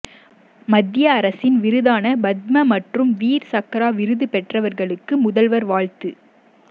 மத்திய அரசின் விருதான பத்ம மற்றும் வீர் சக்ரா விருது பெற்றவர்களுக்கு முதல்வர் வாழ்த்து